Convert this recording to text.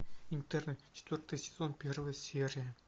интерны четвертый сезон первая серия